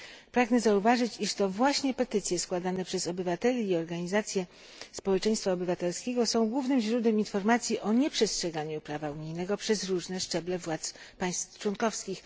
Pragnę zauważyć, iż to właśnie petycje składane przez obywateli i organizacje społeczeństwa obywatelskiego są głównym źródłem informacji o nieprzestrzeganiu prawa unijnego przez różne szczeble władz państw członkowskich.